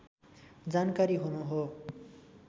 जानकारी हुनु हो